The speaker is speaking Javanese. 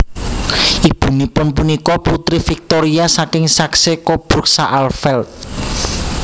Ibunipun punika Putri Victoria saking Saxe Coburg Saalfeld